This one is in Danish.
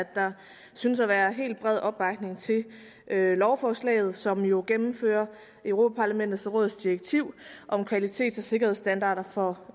der synes at være helt bred opbakning til lovforslaget som jo gennemfører europa parlamentet og rådets direktiv om kvalitets og sikkerhedsstandarder for